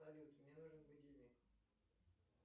салют мне нужен будильник